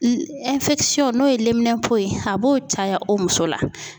n'o ye liminɛnpo ye a b'o caya o muso la.